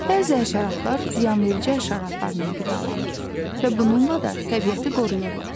Bəzi həşəratlar ziyanverici həşəratlarla qidalanır və bununla da təbiəti qoruyurlar.